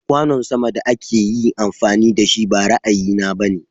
Kwanon sama da akayi amfani dashi ba ra'ayi na bane.